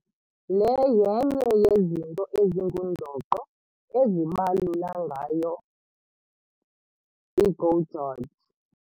Le yenye yezinto ezingundoqo ezibalula ngayo i-GO GEORGE.